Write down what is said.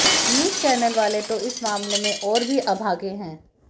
news channel वाले तो इस मामले में और भी अभागे हैं